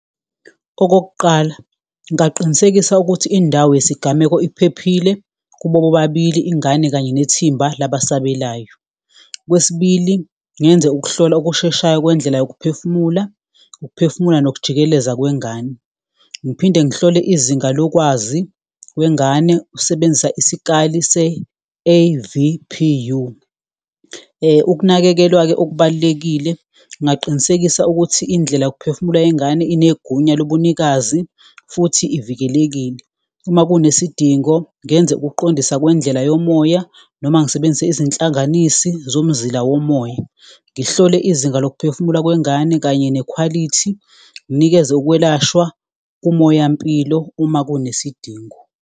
Okokuqala ngaqinisekisa ukuthi indawo yesigameko iphephile kubo bobabili, ingane kanye nethimba laba asabelayo, okwesibili, ngenze ukuhlolwa okusheshayo kwendlela yokuphefumula, ukuphefumula nokujikeleza kwengane. Ngiphinde ngihlole izinga lokwazi kwengane usebenzisa isikali se-A_V_P_U, ukunakekelwa-ke okubalulekile ngaqinisekisa ukuthi indlela yokuphefumula yengane enegunya lobunikazi futhi ivikelekile. Uma kunesidingo ngenze ukuqondisa kwendlela yomoya noma ngisebenzise izinhlanganisi zomzila omoya, ngihlole izinga lokuphefumula kwengane kanye nekhwalithi, nginikeze ukwelashwa kumoyampilo uma kunesidingo.